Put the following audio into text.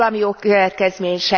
Van valami jogkövetkezmény?